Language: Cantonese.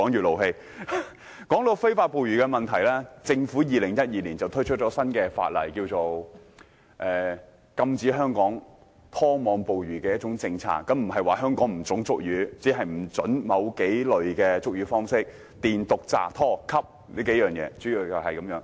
談到非法捕魚的問題，政府在2012年推出新法例，推行禁止拖網捕魚的政策，規定在香港進行捕魚活動，不得採用電、毒、炸、拖、吸這幾類捕魚方式。